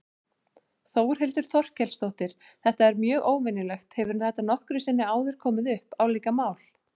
Þórhildur Þorkelsdóttir: Þetta er mjög óvenjulegt, hefur þetta nokkru sinni áður komið upp, álíka mál?